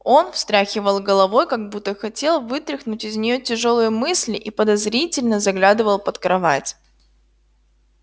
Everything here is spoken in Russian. он встряхивал головой как будто хотел вытряхнуть из нее тяжёлые мысли и подозрительно заглядывал под кровать